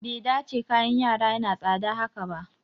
Bai dace kayan yara yana tsada haka ba